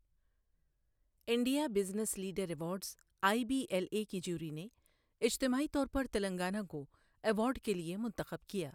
India business leader awards I B L A کی jury نے اجتماعی طور پر تلنگانہ کو ایوارڈ کے لیے منتخب کیا۔